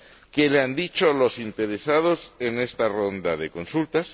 ¿Qué le han dicho los interesados en esta ronda de consultas?